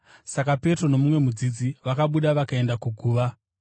Saka Petro nomumwe mudzidzi vakabuda vakaenda kuguva.